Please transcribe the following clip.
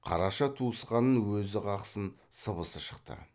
қараша туысқанын өзі қақсын сыбысы шықты